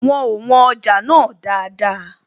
Wọn ò wọn ọjà náà dáadáa